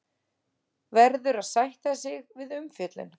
Verður að sætta sig við umfjöllun